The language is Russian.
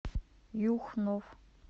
юхнов